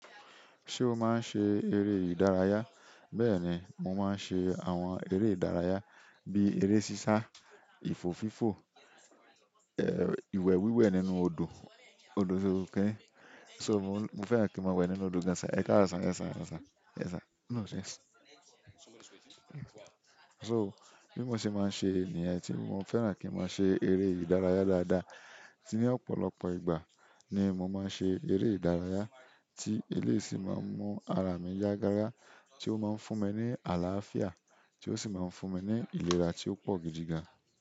Ṣé o máa ń ṣe eré ìdárayá? Bẹ́ẹ̀ni, mo máa ń ṣe àwọn eré ìdárayá bí eré sísá, ìfò fífò, ìwẹ̀ wíwẹ̀ nínú odò, odò yo rò pé. So mo fẹ́ràn kí n máa wẹ̀ nínú odò gan sa. Ẹ káàro, gan sa, e sa. Yes sir. So bí mo ṣe máa ń ṣe nìyẹn tí mo fẹ́ràn kí n máa ṣe eré ìdárayá dáadáa. Ní ọ̀pọ̀lọpọ̀ ìgbà ni mo má ń ṣe eré ìdárayá ti eléyi sì má ń mú ara mi ya gágá tí o má ń fún mi ní àláfíà, tí o sì má ń fún mi ní ìlera tí ó pọ̀ gidi gan.